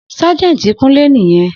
Sergeant kunle niyen